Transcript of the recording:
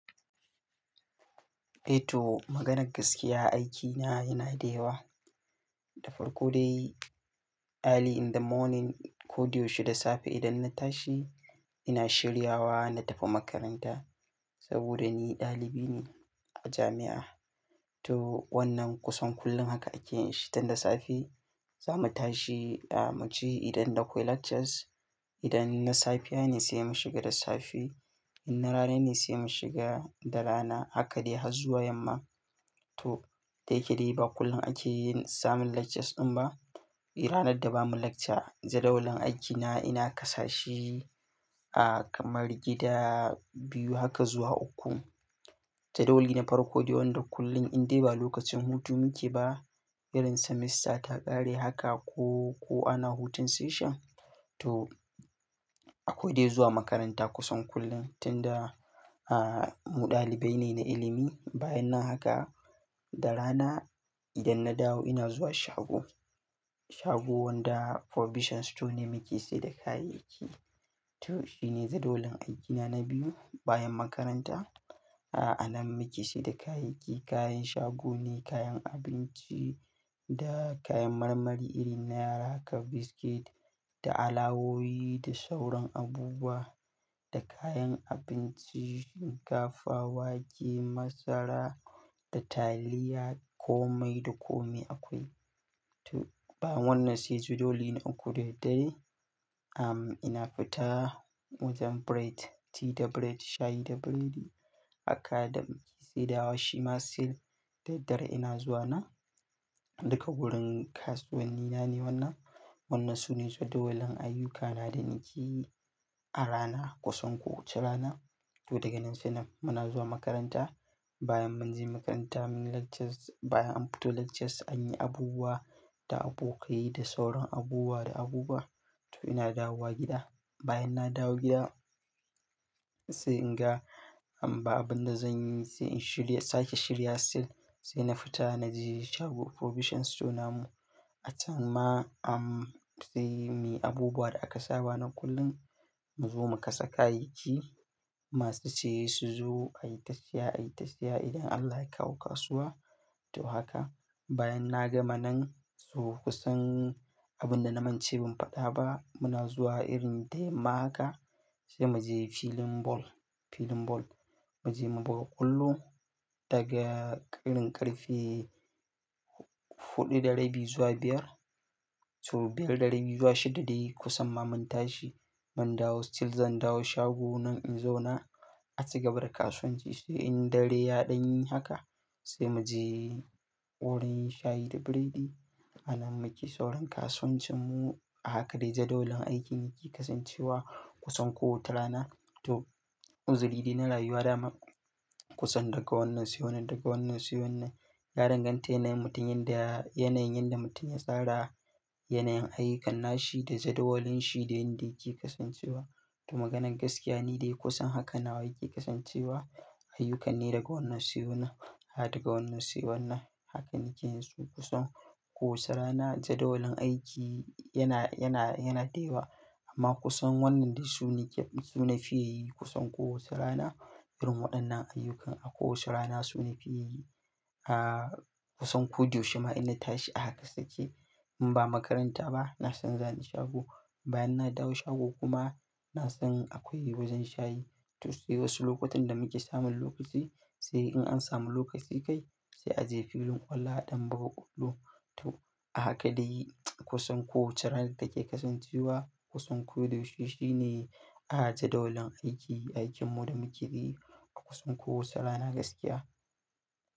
To maganar gaskiya aiki na yana da yawa. Da farko dai early in the morning, ko da yaushe da safe idan na tashi, ina shiryawa na tafi makaranta saboda ni dalibi ne a jami'a. To wannan kusan kullum haka ake yin shi tun da safe. Za mu tashi mu je idan da akwai lectures. Idan na safiya ne sai mu shiga da safe. In na rana ne sai mu shiga da rana. Haka dai har zuwa yamma. To, da yake dai ba kullum ake yin samun lectures ɗin ba. Ranar da bamu lecture, jadawalin aikina ina kasa shi a kamar gida biyu haka zuwa uku. Jadawali na farko dai wanda kullum in dai ba lokacin hutu muke ba, irin semester ta ƙare haka ko, ko ana hutun session. To, akwai dai zuwa makaranta kusan kullum tun da, ah, mu ɗalibai ne na ilimi. Bayan nan haka da rana idan na dawo ina zuwa shago. Shago wanda provision store ne muke sayar da kayayyaki. To shi ne jadawalin aikina na biyu bayan makaranta. A'a, anan muke sayar da kayayyaki, kayan shago ne, kayan abinci da kayan marmari irin na yara kamar biscuit da alawowi da sauran abubuwa da kayan abinci, shinkafa, wake, masara da taliya. Komai da komai akwai. To bayan wannan sai jadawali na uku dai-dai. Am, ina fita wajen bread, tea da bread, shayi da biredi. Haka da muke sayar dawa shi ma sai da daddare ina zuwa na. Duka wurin kasuwanni na ne wannan. Wannan su ne jadawalan ayyukana da nake yi a rana kusan kowace rana. To daga nan sai nan muna zuwa makaranta. Bayan mun je makaranta mun yi lectures, bayan an fito lectures anyi abubuwa da abokai da sauran abubuwa da abubuwa. To ina dawowa gida. Bayan na dawo gida sai in ga, babu abin da zan yi sai in shirya, sake shirya sai sai na fita na je shago provision store namu. A can ma, am, sai muyi abubuwa da aka saba na kullum mu zo mu kasa kayayyaki masu ci su zo ayi ta siya, ayi ta siya idan Allah ya kawo kasuwa. To haka bayan na gama nan zuwa kusan abin da na mance ban faɗa ba muna zuwa irin da yamma haka, sai mu je filin ball, filin ball. Mu je mu buga ƙwallo daga irin ƙarfe huɗu da rabi zuwa biyar. To biyar da rabi zuwa shida dai kusan ma mun tashi mun dawo sai zan dawo shago nan in zauna. A ci gaba da kasuwanci sai in daren ya ɗan yi haka sai mu je wurin shayi da biredi. Anan muke sauran kasuwancin mu. Haka dai jadawalin aikin yake kasancewa kusan kowace rana. To, uzuri dai na rayuwa dama kusan daga wannan sai wannan, daga wannan sai wannan. Ya danganta yanayin mutum, yanayin da mutum ya tsara, yanayin ayyukan nashi da jadawalinsa da yanda yake kasancewa. To maganar gaskiya ni dai kusan haka nawa yake kasancewa. Ayyuka ne daga wannan sai wannan, daga wannan sai wannan. Haka nake yin su kusan kowace rana. Jadawalin aiki yana, yana, yana da yawa amma kusan wannan dai su ne su na fi yi kusan kowace rana. Irin waɗannan ayyuka akwai kowace rana su na fi yi. Ah, kusan kudun shida ina tashi a haka suke in ba makaranta ba na san za ni shago. Bayan na dawo shago kuma na san akwai wajen shayi. To sai wasu lokutan da muke samun lokaci sai in an samu lokaci dai sai a je filin ƙwallo a ɗan buga ƙwallo. To, a haka dai kusan kowace rana take kasancewa. Kusan ko da yaushe shine jadawalin aiki, aikin mu da muke yi a kusan kowace rana gaskiya.